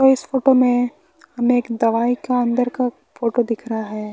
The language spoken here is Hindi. और इस फोटो में हमें एक दवाई का अंदर का फोटो दिख रहा है।